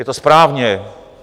Je to správně.